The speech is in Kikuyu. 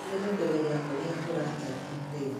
No nyende kũmenya ũrĩa ũratariĩ rĩu.